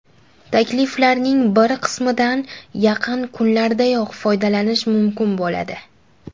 Takliflarning bir qismidan yaqin kunlardayoq foydalanish mumkin bo‘ladi.